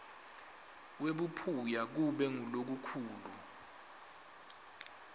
kwebuphuya kube ngulokukhulu